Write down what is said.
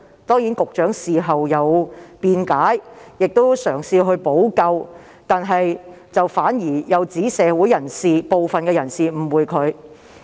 當然，局長事後作出辯解和嘗試補救，但亦反指社會部分人士誤解他。